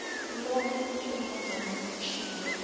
lo njengombana kutjhiwo